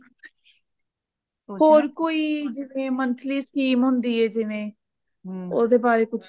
ਹੋਰ ਕੋਈ ਜਿਵੇ monthly scheme ਹੁੰਦੀ ਆ ਜਿਵੇ ਉਹਦੇ ਬਾਰੇ ਕੁਛ